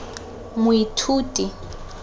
moithuti